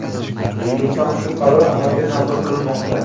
Bu yil ham shu qaror amalga tatbiq qilinmoqda.